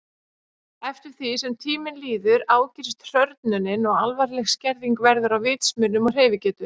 Eftir því sem tíminn líður ágerist hrörnunin og alvarleg skerðing verður á vitsmunum og hreyfigetu.